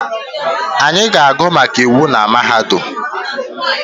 Anyị ga-agụ maka iwu na mahadum